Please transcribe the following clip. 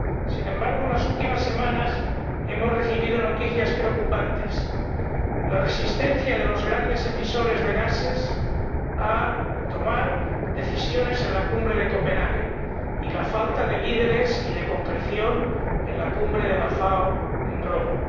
Sin embargo, en las últimas semanas hemos recibido noticias preocupantes la resistencia de los grandes emisores de gases a tomar decisiones en la Cumbre de Copenhague y la falta de líderes y de concreción en la Cumbre de la FAO, en Roma.